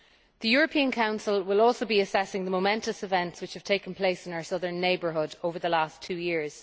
The European Council will also be assessing the momentous events which have taken place in our southern neighbourhood over the last two years.